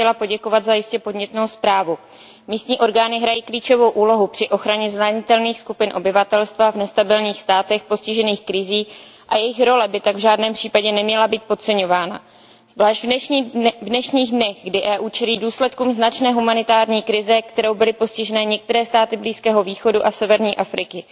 Vážená paní zpravodajko, moc bych vám chtěla poděkovat za jistě podnětnou zprávu. Místní orgány hrají klíčovou úlohu při ochraně zranitelných skupin obyvatelstva v nestabilních státech postižených krizí a jejich role by tak v žádném případě neměla být podceňována. Zvláště v dnešních dnech, kdy Evropská unie čelí důsledkům značné humanitární krize, kterou byly postiženy některé státy Blízkého východu a severní Afriky.